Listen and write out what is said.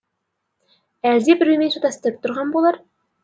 әлде біреумен шатастырып тұрған болар